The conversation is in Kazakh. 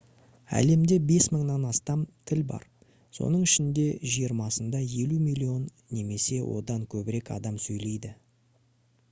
әлемде 5000-нан астам тіл бар соның ішінде жиырмасында 50 миллион немесе одан көбірек адам сөйлейді